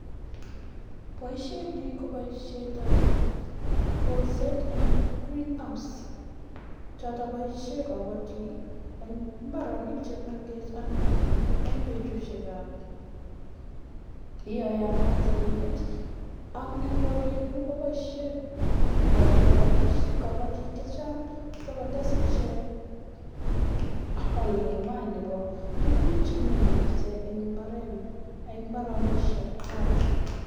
poishonii ko paishet ap kesut eng{ green house }chotok poishee kapatik eng petusheet ne yamaaat eemet eng koren nyuun komapaishee pik